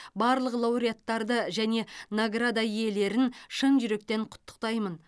барлық лауреаттарды және награда иелерін шын жүректен құттықтаймын